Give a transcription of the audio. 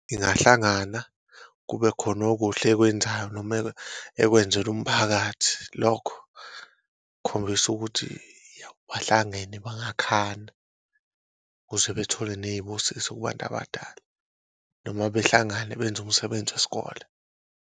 Ingahlangana kube khona okuhle ekwenzayo noma ekwenzela umphakathi lokho khombisa ukuthi bahlangene bangakhanda ukuze bethole ney'busiso kubantu abadala, noma behlangane benze umsebenzi wesikole.